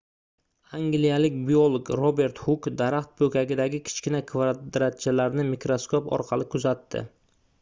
angliyalik biolog robert huk daraxt poʻkagidagi kichkina kvadratchalarni mikroskop orqali kuzatdi